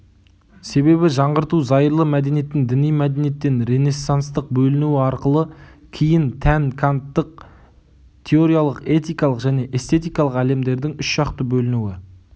себебі жаңғырту зайырлы мәдениеттің діни мәдениеттен ренессанстық бөлінуі арқылы кейін тән канттық теориялық этикалық және эстетикалық әлемдердің үш жақты бөлінуі